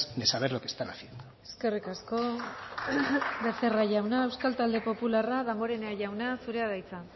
de saber lo que están haciendo eskerrik asko becerra jauna euskal talde popularra damborenea jauna zurea da hitza